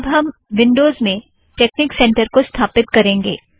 अब हम विन्ड़ोज़ में टेकनिक सेंटर को स्थापित करेंगे